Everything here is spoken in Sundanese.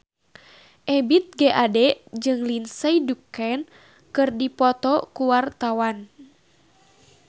Ebith G. Ade jeung Lindsay Ducan keur dipoto ku wartawan